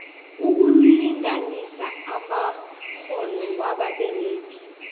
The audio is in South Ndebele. ukulinganisa amakghono wababeregi